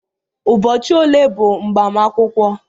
Ụbọchị ole bụ mgbamakwukwo